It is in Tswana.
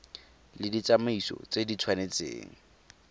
le ditsamaiso tse di tshwanetseng